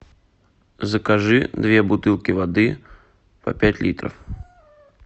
закажи две бутылки воды по пять литров